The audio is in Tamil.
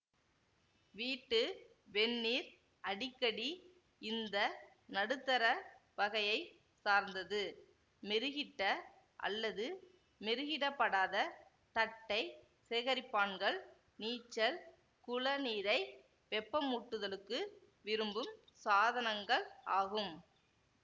வீட்டு வெந்நீர் அடிக்கடி இந்த நடுத்தர வகையை சார்ந்தது மெருகிட்ட அல்லது மெருகிடப்படாத தட்டை சேகரிப்பான்கள் நீச்சல் குள நீரை வெப்பமூட்டுதலுக்கு விரும்பும் சாதனங்கள் ஆகும்